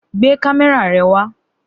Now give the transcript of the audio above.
Gbé kámé̩rà re̩ wa!